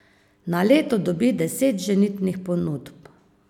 Na leto dobi deset ženitnih ponudb.